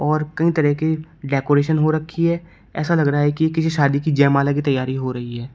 और कई तरह की डेकोरेशन हो रखी है ऐसा लग रहा है कि किसी शादी की जयमाला की तैयारी हो रही है।